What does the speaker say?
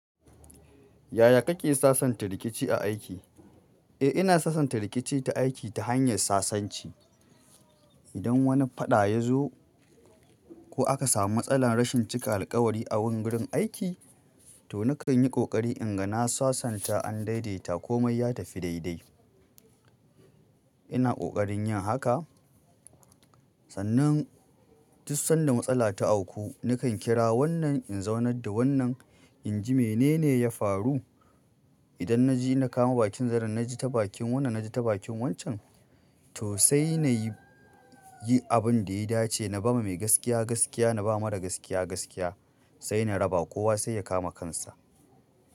Yaya kake sasanta rikici a aiki? Eh ina sasanta rikici ta aiki ta hanyar sasanci. Idan wani faɗa ya zo ko aka samu matsalar rashin cika alkawari a wurin aiki, to nakan yi ƙoƙari in ga na sasanta an daidaita komai ya tafi daidai. Ina ƙoƙarin yin haka sannan duk sanda matsala ta auku na kan kira wannan in zaunar da wannan inji menene ya faru? Idan na ji na kama bakin zaren na ji ta bakin wannan na ji ta bakin wancan, to sai na yi abin da ya dace na ba ma mai gaskiya gaskiya na ba mara gaskiya gaskiya sai na raba kowa sai ya kama kansa.